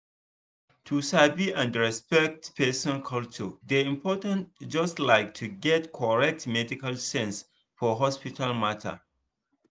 to sabi and respect person culture dey important just like to get correct medical sense for hospital matter.